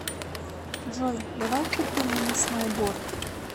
джой давай купим мне сноуборд